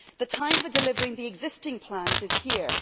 The time for delivering the existing plans is here.